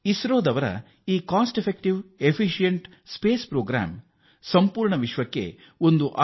ಇಸ್ರೋದ ಈ ಸಮರ್ಥ ಹಾಗೂ ವೆಚ್ಚ ಉಳಿತಾಯದ ಬಾಹ್ಯಾಕಾಶ ಕಾರ್ಯಕ್ರಮವು ಇಡೀ ವಿಶ್ವಕ್ಕೆ ಮಾದರಿಯಾಗಿದೆ